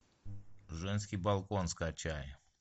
женский балкон скачай